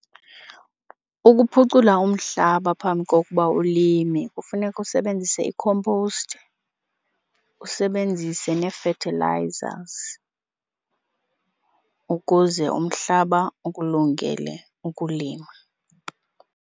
Ukuphucula umhlaba phambi kokuba ulime kufuneka usebenzise i-compost, usebenzise nee-fertilizers ukuze umhlaba ukulungele ukulima.